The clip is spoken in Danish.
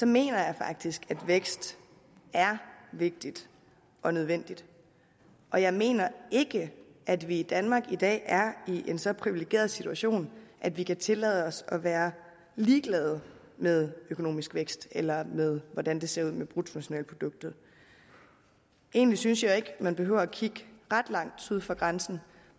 mener jeg faktisk at vækst er vigtigt og nødvendigt og jeg mener ikke at vi i danmark i dag er i en så privilegeret situation at vi kan tillade os at være ligeglade med økonomisk vækst eller med hvordan det ser ud med bruttonationalproduktet egentlig synes jeg jo ikke at man behøver at kigge ret langt syd for grænsen